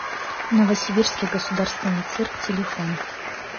новосибирский государственный цирк телефон